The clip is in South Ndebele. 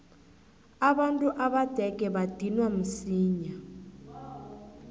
abantu abadege badinwa msinya